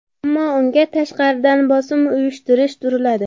Ammo unga tashqaridan bosim uyushtirib turiladi.